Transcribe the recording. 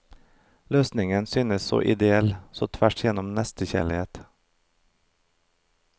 Løsningen syntes så ideell, så tvers gjennom nestekjærlig.